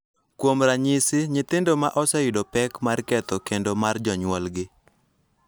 Kuom ranyisi, nyithindo ma oseyudo pek mar ketho kend mar jonyuolgi .